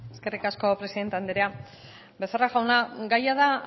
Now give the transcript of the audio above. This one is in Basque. eskerrik asko presindente anderea becerra jauna gaia da